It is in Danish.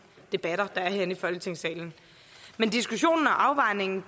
debatter der er herinde i folketingssalen men diskussionen og afvejningen